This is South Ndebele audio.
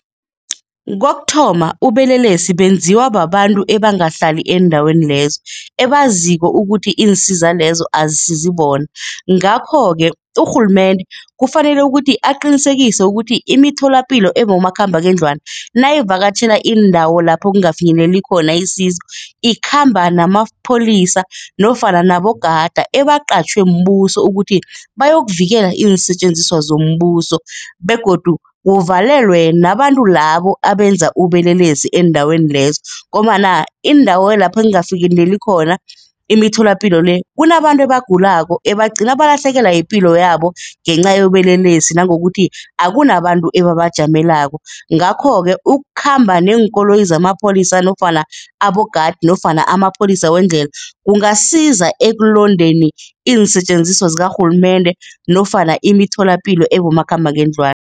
Kokuthoma, ubelelesi benziwa babantu ebangahlali eendaweni lezo ebaziko ukuthi iinsiza lezo azisizi bona. Ngakho-ke urhulumende kufanele ukuthi aqinisekise ukuthi imitholapilo ebomakhambangendlwana, nayivakatjhela iindawo lapho kungafinyeleli khona isizo, ikhamba namapholisa nofana nabogada ebaqatjhwe mbuso ukuthi bayokuvikela iinsetjenziswa zombuso begodu kuvalelwe nabantu labo abenza ubelelesi eendaweni lezo ngombana iindawo lapho ekungakafikeleli khona imitholapilo le, kunabantu ebagulako, ebagcine balahlekelwa yipilo yabo ngenca yobelelesi nangokuthi akunabantu ebabajamelako. Ngakho-ke ukukhamba neenkoloyi zamapholisa nofana abogadi nofana amapholisa wendlela, kungasiza ekulondeni iinsetjenziswa zikarhulumende nofana imitholapilo ebomakhambangendlwana.